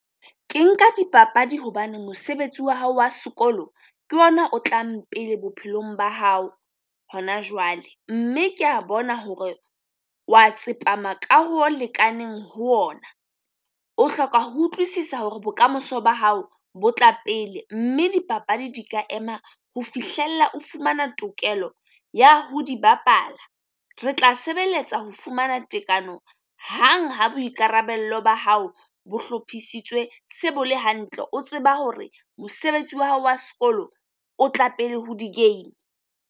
Ke nka dipapadi hobane mosebetsi wa hao wa sekolo ke ona o tlang pele bophelong ba hao hona jwale, mme kea bona hore wa tsepama ka ho lekaneng ho ona. O hloka ho utlwisisa hore bokamoso ba hao bo tla pele, mme dipapadi di ka ema ho fihlella o fumana tokelo ya ho di bapala. Re tla sebeletsa ho fumana tekano hang ha boikarabello ba hao bo hlophisitswe, se bo le hantle, o tseba hore mosebetsi wa hao wa sekolo o tla pele ho di game.